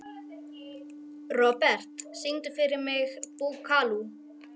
Robert, syngdu fyrir mig „Búkalú“.